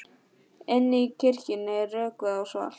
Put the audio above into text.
Inni í kirkjunni er rökkvað og svalt.